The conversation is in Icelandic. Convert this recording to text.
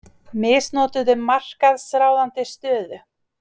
Misnotuðu markaðsráðandi stöðu